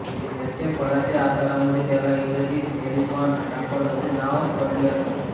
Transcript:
याच्या फळाच्या आकारामुळे त्याला इंग्रजीत एलिफन्ट एपल असे नाव पडले असावे